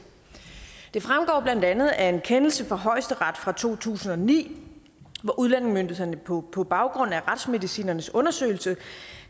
det fremgår blandt andet af en kendelse fra højesteret fra to tusind og ni hvor udlændingemyndighederne på på baggrund af retsmedicinernes undersøgelse